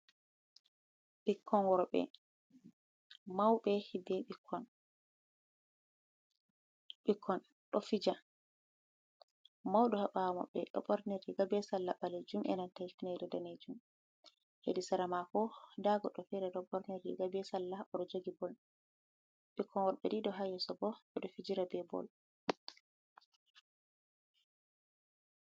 Ɓikkon worbe, Mauɓe hidde ɓikkon. Ɓikkon ɗo fija, Mauɗo haa ɓaawo be ɗo ɓorni riga be sallah ɓaleejum, be nanta danejum. Hedi sara maako daa goɗɗo fere ɗo ɓorn riga be sallah oɗo jogi bol. Ɓikkon worɓe ɗiɗo haa yeso bo ɓe ɗo fijira be bol.